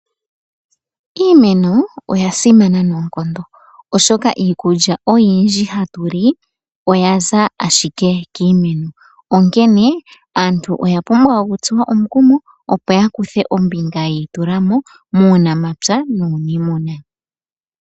Iimeno oya simana noonkondo oshoka, iikulya oyindji hatu li oya za ashike kiimeno onkene, aantu oya pumbwa okutsuwa omukumo opo ya kuthe ombinga yi itulamo muunamapya nuniimuna.